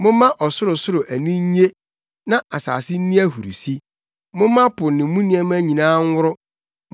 Momma ɔsorosoro ani nnye, na asase nni ahurusi; momma po ne mu nneɛma nyinaa nworo;